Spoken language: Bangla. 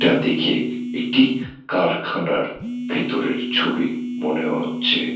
এটা দেখে একটি্ কারখানার ভেতরের ছবি মনে হচ্ছে।